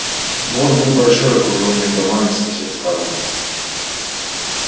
двор был большой окружённый домами со всех сторон